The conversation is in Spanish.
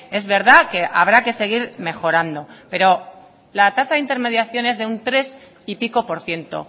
es verdad que habrá que seguir mejorando pero la tasa de intermediación es de un tres y pico por ciento